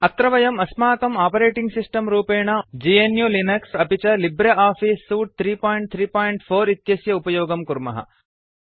अत्र वयम् अस्माक् आपरेटिंग् सिस्टम् रूपेण ग्नु लिनक्स अपि च लिब्रे आफीस सूट् 334 इत्यस्य उपयोगं कुर्मः